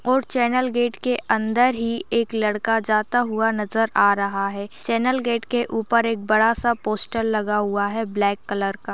और channel gate के अंदर ही एक लड़का जाता हुआ नजर आ रहा है चैनल गेट के ऊपर एक बड़ा सा पोस्टर लगा हुआ है ब्लैक कलर का।